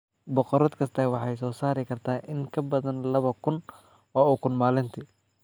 Boqorad kasta waxay soo saari kartaa in ka badan laba kun oo ukun maalintii.